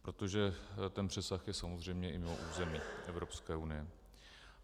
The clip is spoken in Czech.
Protože ten přesah je samozřejmě i mimo území Evropské unie.